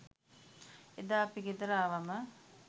එදා අපි ගෙදර ආවම